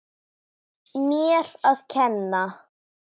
Mér að kenna!